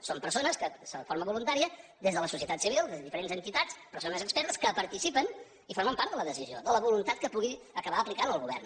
són persones que de forma voluntària des de la societat civil des de diferents entitats persones expertes que participen i formen part de la decisió de la voluntat que pugui acabar aplicant el govern